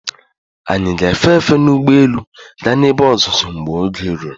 Anyị ga-efe efe n'ugbo élú gaa n'ebe ọzụzụ mgbe oge ruru.